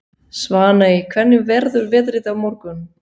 Svaney, hvernig verður veðrið á morgun?